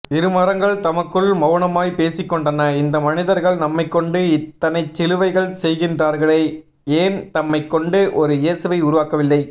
இருமரங்கள்தமக்குள் மௌனமாய் பேசிக்கொண்டன இந்த மனிதர்கள் நம்மைகொண்டு இத்தனைசிலுவைகள் செய்கின்றார்களே ஏன்தம்மைகொண்டு ஒரு இயேசுவை உருவாக்கவில்லை